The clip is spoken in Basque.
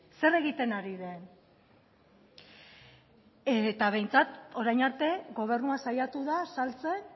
zer egiten ari den eta behintzat orain arte gobernua saiatu da saltzen